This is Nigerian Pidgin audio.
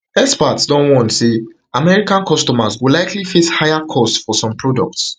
experts don warn say american consumers go likely face higher costs for some products